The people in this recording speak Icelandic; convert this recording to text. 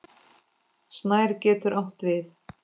Snær getur átt við